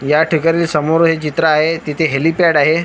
या ठिकाणी समोर हे चित्र आहे तिथे हेलीपॅड आहे.